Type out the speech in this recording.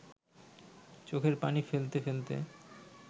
চোখের পানি ফেলতে ফেলতে